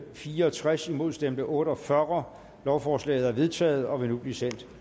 fire og tres imod stemte otte og fyrre lovforslaget er vedtaget og vil nu blive sendt